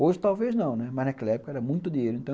Hoje talvez não, né, mas naquela época era muito dinheiro.